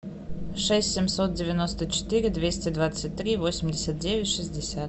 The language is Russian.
шесть семьсот девяносто четыре двести двадцать три восемьдесят девять шестьдесят